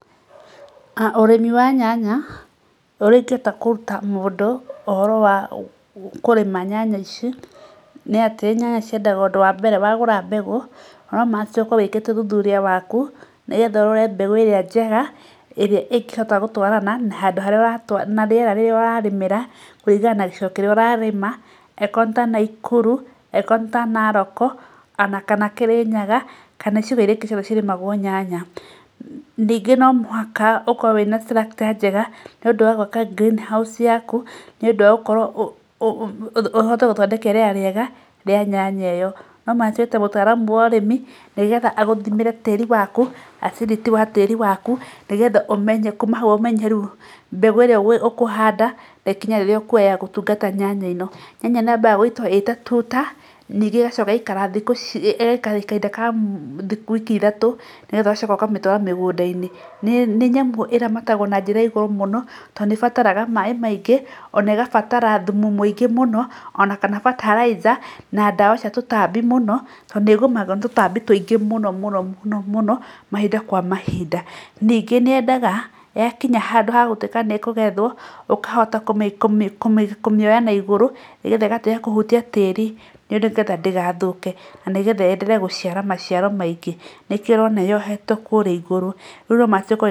Ũrĩmi wa nyanya ũrĩa ingĩhota kũruta mũndũ ũhoro wa kũrĩma nyanya ici, nyanya ciendaga ũndũ wa mbere wagũra mbegũ no must ũkorwo wĩkĩte ũthuthuria waku, nĩgetha ũhote kũrora mbegũ ĩrĩa njega ĩrĩa ĩngĩhota gũtwarana na handũ harĩa na rĩera rĩrĩa ũrarĩmĩra kũringana na gĩcigo kĩrĩa ũrarĩma, angĩkorwo nĩ ya Naikuru angĩkorwo nĩ ta Narok, ona kana Kĩrĩnyaga kana icigo irio ingĩ cirĩmagwo nyanya, ningĩ no mũhaka ũkorwo wĩna structure njega nĩ ũndũ wa gwaka green House yaku, nĩ ũndũ wa gũkorwo, ũhote gũthondeka rĩera rĩega rĩa nyanya ĩyo, no must wĩte mũtaaramu wa ũrĩmi nĩgetha agũthimĩre tĩri waku acidity ya tĩri waku nĩgetha amenye kuma hau amenye rĩu mbegũ ĩrĩa ũkũhanda, na ikinya rĩrĩa ũkwoya ya gũtungata nyanya ĩno. Nyanya nĩ yambaga gũitwo ĩtatuta, ĩgacoka ĩagaikara kahinda ka wiki ithatũ, nĩgetha ũgacoka ũkamĩtwara mĩgũnda-inĩ, nĩ nyamũ ĩramatagwo na njĩra ya igũrũ mũno tondũ nĩ bataraga maĩ maingĩ ona ĩgabatara thumu mĩingĩ mũno ona kana bataraitha na dawa cia tũtambi mũno tondũ nĩ gũmagĩrwo nĩ tũtambi tũingĩ mũno mũno mahinda kwa mahinda, ningĩ nĩ yendaga ya kinya handũ ha gũtuĩka nĩ kũgethwo ũkahota kũmĩ, kũmĩoya na igũrũ nĩgetha ĩgatiga kũhutia tĩri nĩgetha ndĩgathũke, na nĩgetha ĩyendelee gũciara maciaro maingĩ nĩ kĩo ũrona yohetwo kũrĩa igũrũ, rĩu no must